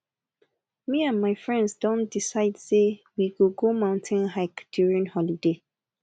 me and my friends don decide say we go go mountain hike during holiday